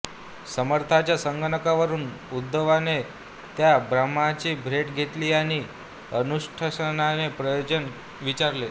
समर्थांच्या सांगण्यावरून उद्धवने त्या ब्राम्हणांची भेट घेतली आणि अनुष्ठानाचे प्रयोजन विचारले